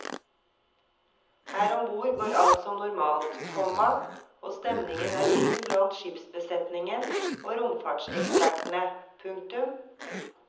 Her om bord går alt som normalt, komma og stemningen er fin blant skipsbesetningen og romfartsekspertene. punktum